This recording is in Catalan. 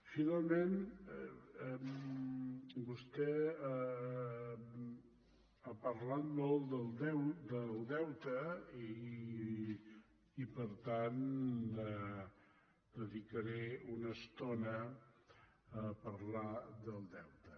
finalment vostè ha parlat molt del deute i per tant dedicaré una estona a parlar del deute